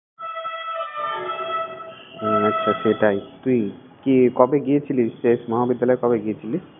হুমম সত্যিই তাই। তুই কিয়ে কবে গিয়েছিলিস শেষ, মহাবিদ্যালয়ে কবে গিয়েছিলিস?